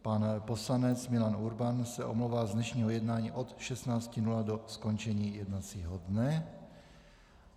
Pan poslanec Milan Urban se omlouvá z dnešního jednání od 16.00 do skončení jednacího dne.